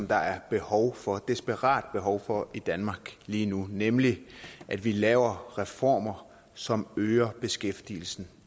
der er behov for desperat behov for i danmark lige nu nemlig at vi laver reformer som øger beskæftigelsen